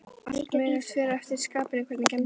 Allt mögulegt, fer eftir skapinu Hvernig gemsa áttu?